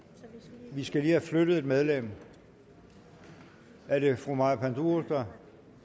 vi skal lige have flyttet et medlem er det fru maja panduro nej